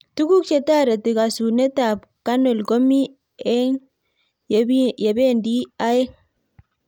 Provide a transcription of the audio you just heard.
Tuguk che tarit kasunet ab canal komii eny yebindoo aeng